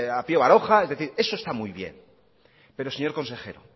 a pío baroja es decir esto está muy bien pero señor consejero